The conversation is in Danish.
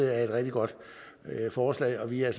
er et rigtig godt forslag og vi er